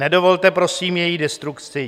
Nedovolte, prosím, její destrukci.